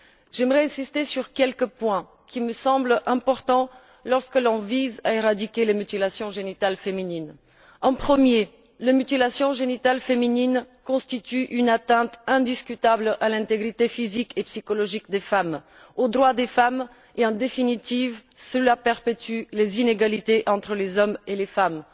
J'aimerais insister sur quelques points, qui me semblent importants lorsque l'on vise à éradiquer les mutilations génitales féminines. Premièrement, les mutilations génitales féminines constituent une atteinte indiscutable à l'intégrité physique et psychologique des femmes, au droit des femmes et, en définitive, cela perpétue les inégalités entre les hommes et les femmes.